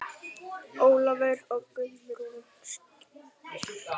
Ólafur og Guðrún skildu.